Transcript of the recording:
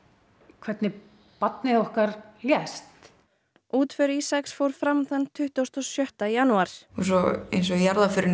hvernig barnið okkar lést útför Ísaks fór fram þann tuttugasta og sjötta janúar svo eins og í jarðaförinni